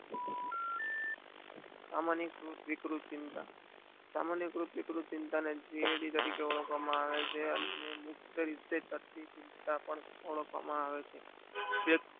સામાન્ય વિકૃતિ માં ચિંતા ને થિયરી તરીકે પણ ઓળખવામાં આવે છે મૂખીય રીતે શક્તિ ચિંતા પણ ઓળખવામાં આવે છે.